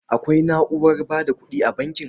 Akwai na'urar ba da kuɗi a bankin.